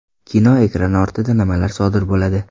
Kino: Ekran ortida nimalar sodir bo‘ladi?